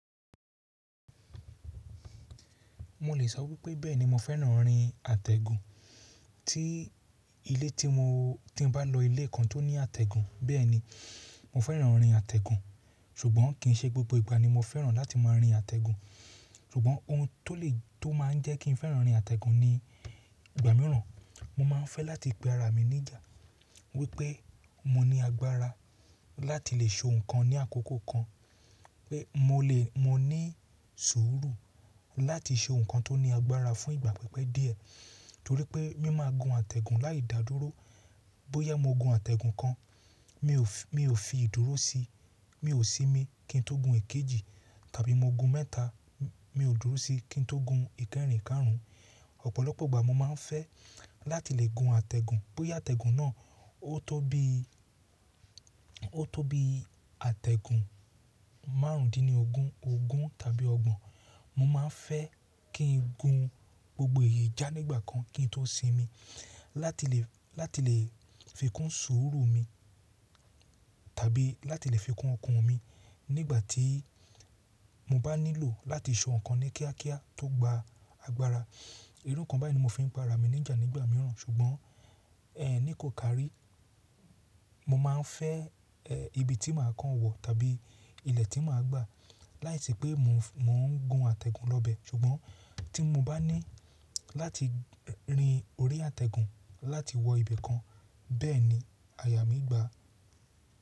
Mo lè sọ wípé bẹ́ẹ̀ni mo fẹ́ràn rin àtẹ̀gùn, tí ilé tí mo tí bá lọ ilé kan tó ní àtẹ̀gùn bẹ́ẹ̀ni mo fẹ́ràn rin àtẹ̀gùn, ṣùgbọ́n kì í ṣe gbogbo ìgbà ni mo fẹ́ràn láti máa rin àtẹ̀gùn, ṣùgbọ́n ohun tó lè tó máa ń jẹ́ kí n fẹ́ràn rin àtẹ̀gùn ní ìgbà mìíràn, mo máa ń fẹ́ láti pe ara mi níjà wípé mo ní agbára láti lè ṣe ohun kan ní àkókò kan, pé mo lè mo ní sùúrù láti ṣe ohun kan tó ní agbára fún ìgbà pípẹ́ díẹ̀, torí pé mi máa gun àtẹ̀gùn láìdádúró, bóyá mo gun àtẹ̀gùn kan mi ò fi ìdúró sí, mi ò sí mi kí n tó gun ikejì tàbí mo gun mẹ́ta mi ò dúró sí kí n tó gun ìkẹrìn kárùn ún. Ọ̀pọ̀lọpọ̀ ìgbà mo máa ń fẹ́ láti lè gun àtẹ̀gùn bóyá àtẹ̀gùn náà ó tó bí ó tó bí àtẹ̀gùn márùndínní ógún, ogún tàbí ọgbọ̀n, mo máa ń fẹ́ kí n gun gbogbo èyí já nígbà kan kí n tó sinmi láti lè láti lè fi kún sùúrù mi tàbí láti lè fi kún ọkàn mi nígbà tí mo bá nílò láti ṣe ohun kan ní kíákíá tó gba agbára. Irú kan báylìí ni mo fi ń pe ara mi níjà nígbà mìíràn ṣùgbọ́n ẹ ní kò káàrí, mo máa ń fẹ́ ibi tí màá kàn wọ tàbí ilẹ̀ tí màá gbà láìsí pé mò ń gun àtẹ̀gùn lọ bẹ ṣùgbọ́n tí mo bá ní láti rin orí àtẹ̀gùn láti wọ ibì kan bẹ́ẹ̀ni àyà mí gbà.